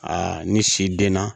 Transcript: ni si den na